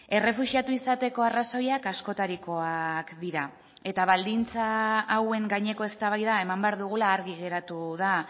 errefuxiatu izateko arrazoiak askotarikoak dira eta baldintza hauen gaineko eztabaida eman behar dugula argi geratu da